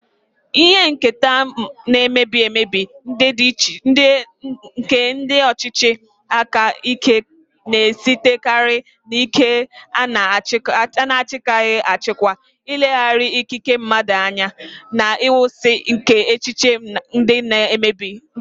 Ihe nketa na-emebi emebi nke ndị ọchịchị aka ike na-esitekarị n'ike a na-achịkwaghị achịkwa, ileghara ikike mmadụ anya, na nkwụsị nke echiche ndị na-emegide ya.